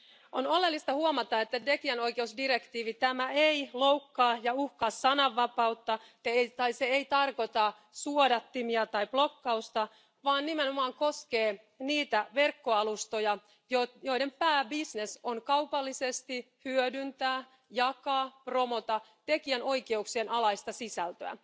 On oleellista huomata, että tekijänoikeusdirektiivi ei loukkaa ja uhkaa sananvapautta tai se ei tarkoita suodattimia tai blokkausta, vaan nimenomaan koskee niitä verkkoalustoja, joiden pääbisnes on kaupallisesti hyödyntää, jakaa ja promota tekijänoikeuksien alaista sisältöä.